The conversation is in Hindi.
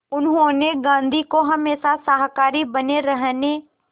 उन्होंने गांधी को हमेशा शाकाहारी बने रहने